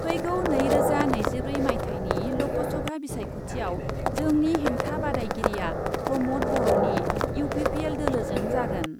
फैगौ नैरोजा नैजिब्रै माइथायनि ल'कसभा बिसायख'थियाव जोंनि हेंथा बादायगिरिआ प्रम'द बर'नि इउ पि पि एल दोलोजों जागोन।